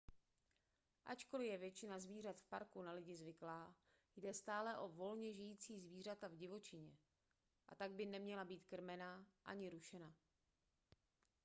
ačkoli je většina zvířat v parku na lidi zvyklá jde stále o volně žijící zvířata v divočině a tak by neměla být krmena ani rušena